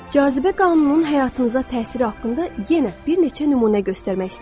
Cazibə qanununun həyatınıza təsiri haqqında yenə bir neçə nümunə göstərmək istəyirəm.